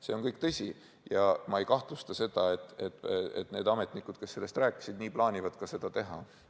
See kõik on tõsi ja ma ei kahtle selles, et ametnikud, kes seda rääkisid, nii plaanivadki teha.